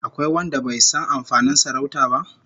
Akwai wanda bai san amfanin sarauta ba?